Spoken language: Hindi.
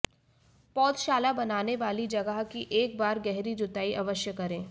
पौधशाला बनाने वाली जगह की एक बार गहरी जुताई अवश्य करें